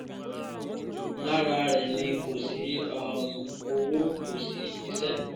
lára rẹ̀ ni kò sí um owó kò sí iṣẹ́